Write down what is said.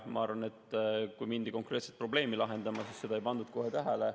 Ma arvan, et kui mindi konkreetset probleemi lahendama, siis seda ei pandud kohe tähele.